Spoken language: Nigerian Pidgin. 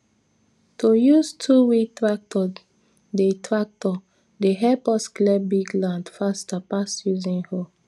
to use twowheel tractor dey tractor dey help us clear big land faster pass using hoe